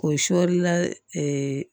O sɔlila